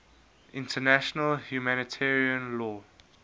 international humanitarian law